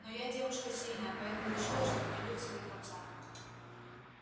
но я девушка сильная поэтому решила что пройду всё до конца